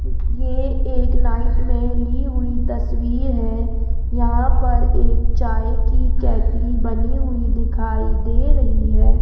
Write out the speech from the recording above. ये एक नाइट में ली हुई तस्वीर है यहां पर एक चाय की केतली बनी हुई दिखाई दे रही है।